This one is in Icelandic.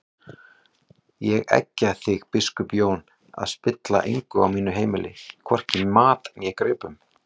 Ég eggja þig biskup Jón að spilla engu á mínu heimili, hvorki mat né gripum!